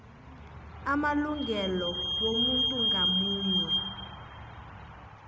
amalungelo womuntu ngamunye